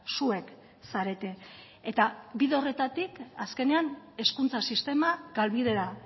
zuek zarete eta bide horretatik azkenean hezkuntza sistema galbidera